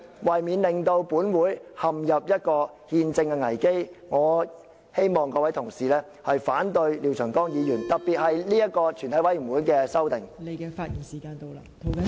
為免本會陷入憲政危機，我希望各位同事反對廖長江議員，特別是這個全體委員會的修訂。